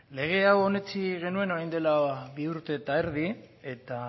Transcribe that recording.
lege hau onetsi genuen orain dela bi urte eta erdi eta